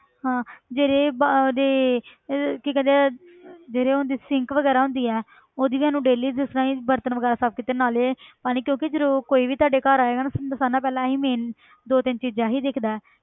ਹਾਂ ਜਿਹੜੇ ਬ~ ਉਹਦੇ ਇਹ ਕੀ ਕਹਿੰਦੇ ਆ ਜਿਹੜੇ ਹੁੰਦੇ sink ਵਗ਼ੈਰਾ ਹੁੰਦੀ ਹੈ ਉਹਦੀ ਸਾਨੂੰ daily ਜਿਸ ਤਰ੍ਹਾਂ ਹੀ ਬਰਤਨ ਵਗ਼ੈਰਾ ਸਾਫ਼ ਕੀਤੇ ਨਾਲੇ ਪਾਣੀ ਕਿਉਂਕਿ ਜਦੋਂ ਕੋਈ ਵੀ ਤੁਹਾਡੇ ਘਰ ਆਏਗਾ ਤਾਂ ਸਾਰਿਆਂ ਨਾਲੋਂ ਪਹਿਲਾਂ ਇਹ ਹੀ ਮੇਨ ਦੋ ਤਿੰਨ ਚੀਜ਼ਾਂ ਇਹ ਹੀ ਦੇਖਦਾ ਹੈ